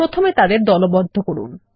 প্রথমে তাদের দলবদ্ধ করুন